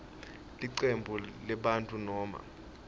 licembu lebantfu noma